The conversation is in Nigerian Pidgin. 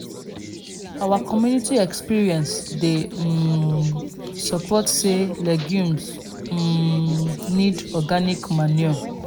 our community experience dey um support say legumes um need organic manure."